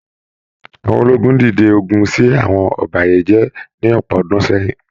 Àwọn ológun dìde ogun ṣi àwọn òbàyéjẹ́ ní ọpọ ọdún sẹyìn